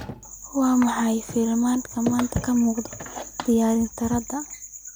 maxaa filimada maanta ka muuqda tiyaatarada